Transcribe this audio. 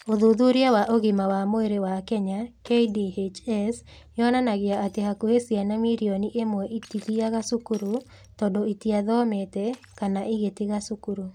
Ũthuthuria wa Ũgima wa Mwĩrĩ wa Kenya )KDHS) yonanagia atĩ hakuhĩ ciana mirioni ĩmwe itIthiaga cukuru, tondũ itiathomete, kana igatiga cukuru.